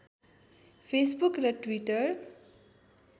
Facebook र Twitter